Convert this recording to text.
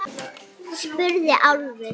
spurði Álfur.